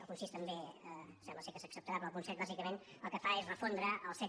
el punt sis també sembla que s’acceptarà però el punt set bàsicament el que fa és refondre el set